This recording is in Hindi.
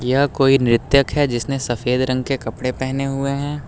यह कोई नृत्यक है जिसने सफेद रंग के कपड़े पहने हुए हैं।